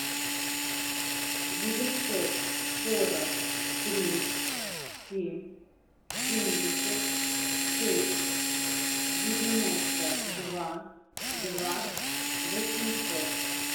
девятьсот сорок три семь семьдесят шесть девяносто два два восемьсот